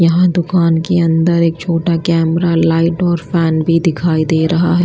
यहां दूकान की अंदर एक छोटा कैमरा लाइट और फैन भी दिखाई दे रहा है।